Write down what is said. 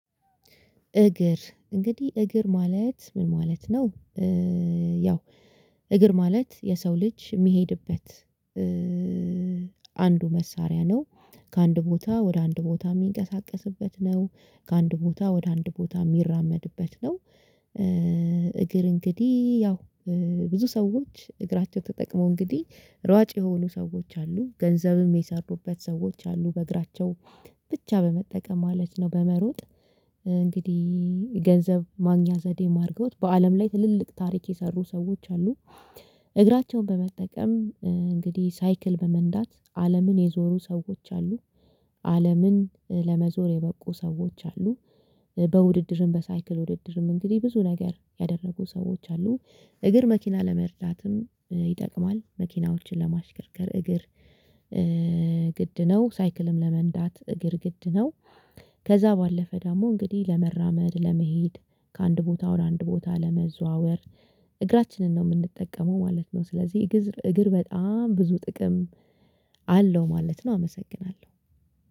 እግር እንግዲህ እግር ማለት ምን ማለት ነው? ያው እግር ማለት የሰው ልጅ እሚሄድበት አንዱ መሳሪያ ነው። ከአንድ ቦታ ወደ አንድ ቦታ የሚንቀሳቀስበት ነው። ከአንድ ቦታ ወደ አንድ ቦታ እሚራመድበት ነው። እግር እንግዲህ ያው ብዙ ሰዎች እግራቸው ተጠቅመው እንግዲህ ሯጭ የሆኑ ሰዎች አሉ ገንዘብም የሰሩበት ሰዎች አሉ በእግራቸው ብቻ በመጠቀም ማለት ነው በመሮጥ እንግዲህ ገንዘብ ማግኛ ዘዴም አርገዉት በአለም ላይ ትልልቅ ታሪክ የሰሩ ሰዎች አሉ። እግራቸውን በመጠቀም እንግዲህ ሳይክል በመንዳት አለምን የዞሩ ሰዎች አሉ አለምን ለመዞር የበቁ ሰዎች አሉ በውድድርም በሳይክል ውድድርም እንግዲህ ብዙ ነገር ያደረጉ ሰዎች አሉ እግር መኪና ለመርዳትም ይጠቅማል። መኪናዎችን ለማሽከርከር እግር ግድ ነው ሳይክልም ለመንዳት እግር ግድ ነው። ከዛ ባለፈ ደግሞ እንግዲህ ለመራመድ ለመሄድ ከአንድ ቦታ ወደ አንድ ቦታ ለመዘዋወር እግራችንን ነው እምንጠቀመው ማለት ነው። ስለዚህ እግዝር እግር በጣም ብዙ ጥቅም አለው ማለት ነው። አመሰግናለሁ